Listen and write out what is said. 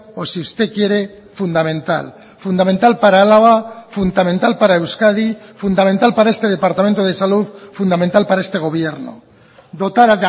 o si usted quiere fundamental fundamental para álava fundamental para euskadi fundamental para este departamento de salud fundamental para este gobierno dotar